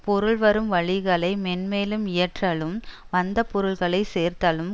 பொருள் வரும் வழிகளை மேன்மேலும் இயற்றலும் வந்த பொருள்களை சேர்த்தலும்